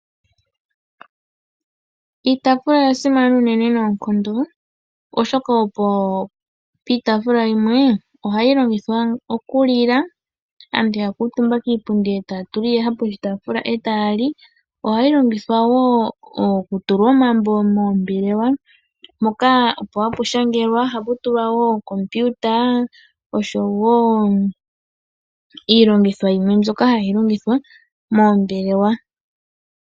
Iitaafula oya simana unene noonkondo, oshoka iitaafula yimwe ohayi longithwa okulila, aantu ya kuutumba kiipundi e taya tula iiyaha poshitaafula e taya li. Ohayi longithwa wo okutula omambo moombelewa, mpoka opo hapu shangelwa. Ohapu tulwa wo ookompiuta, oshowo iilongitho yimwe mbyoka hayi longithwa moombelewa.